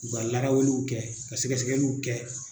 U ka larawuliw kɛ ka sɛgɛsɛgɛliw kɛ.